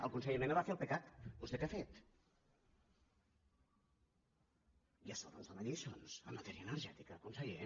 el conseller mena va fer el pecac vostè què ha fet i a sobre ens dóna lliçons en matèria energètica conseller